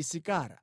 Isakara.